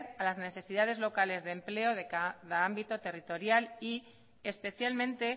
a las necesidades locales de empleo de cada ámbito territorial y especialmente